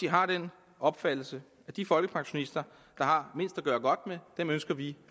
har den opfattelse at de folkepensionister der har mindst at gøre godt med ønsker vi